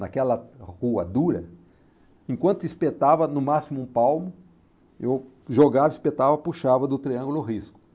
Naquela rua dura, enquanto espetava no máximo um palmo, eu jogava, espetava, puxava do triângulo o risco.